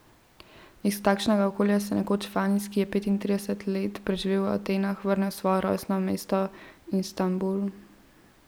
Iz takšnega okolja se nekoč Fanis, ki je petintrideset let preživel v Atenah, vrne v svoje rojstno mesto Istanbul.